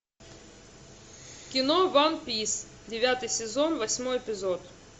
кино ван пис девятый сезон восьмой эпизод